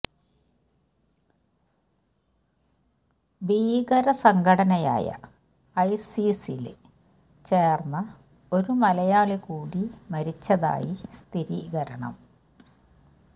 ഭീകര സംഘടനയായ ഐസിസില് ചേര്ന്ന ഒരു മലയാളി കൂടി മരിച്ചതായി സ്ഥിരീകരണം